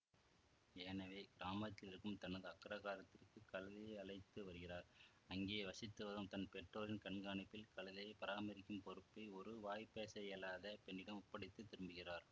எனவே கிராமத்திலிருக்கும் தனது அக்ரஹாரதுக்கு கழுத்தை அழைத்து வருகிறார் அங்கே வசித்துவரும் தன் பெற்றோரின் கண்காணிப்பில் கழுதையை பராமரிக்கும் பொறுப்பை ஒரு வாய்பேசவியலாத பெண்ணிடம் ஒப்படைத்து திரும்புகிறார்